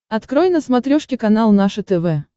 открой на смотрешке канал наше тв